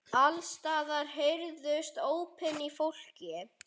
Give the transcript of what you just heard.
Alls staðar heyrðust ópin í fólki.